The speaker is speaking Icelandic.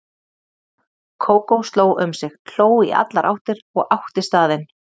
Kókó sló um sig, hló í allar áttir og átti staðinn.